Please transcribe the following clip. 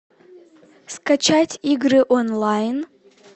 скачать игры онлайн